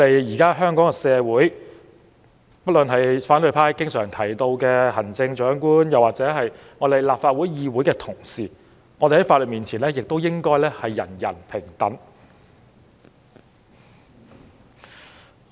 現在，反對派經常提到的行政長官或議會同事，亦應在法律面前得到平等對待。